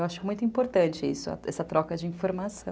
Eu acho muito importante isso, essa troca de informação.